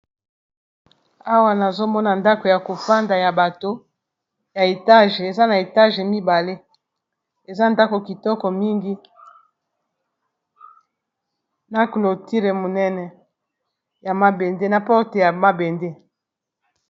Awa nazomona ndako ya kofanda ya bato ya etage eza na etage mibale eza ndako kitoko mingi na cloture monene ya mabende na porte ya mabende